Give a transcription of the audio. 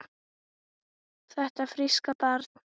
Þetta fríska barn?